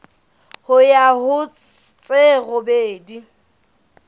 ho ya ho tse robedi